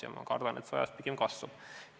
Ja ma kardan, et ajas see pigem kasvab.